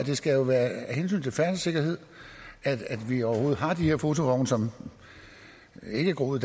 jo skal være af hensyn til færdselssikkerheden at vi overhovedet har de her fotovogne som ikke er groet